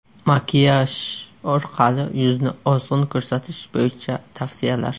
Makiyaj orqali yuzni ozg‘in ko‘rsatish bo‘yicha tavsiyalar.